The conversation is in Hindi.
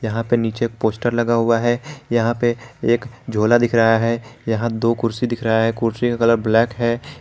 यहां पे नीचे एक पोस्टर लगा हुआ है यहां पे एक झोला दिख रहा है यहां दो कुर्सी दिख रहा है कुर्सी का कलर ब्लैक है।